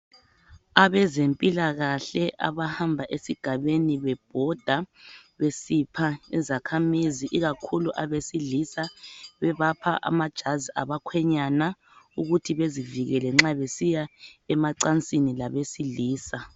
Abezempilakahle abahmba esigabeni bebhoda besipha izakhamizi ikakhulu ebesilisa bebapha amajazi abakhwenyana ukuthi bezivikele nxa besiya emancansini labesilisa.